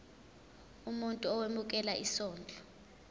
umuntu owemukela isondlo